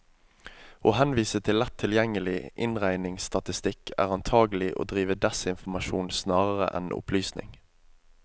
Å henvise til lett tilgjengelig innringningsstatistikk, er antagelig å drive desinformasjon snarere enn opplysning.